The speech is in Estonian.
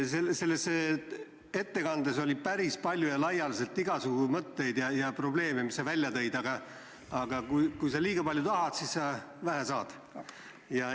Selles ettekandes oli päris palju igasugu mõtteid ja probleeme, mis sa välja tõid, aga kui sa liiga palju tahad, siis sa vähe saad.